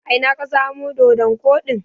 A ina ka samo doɗon koɗin?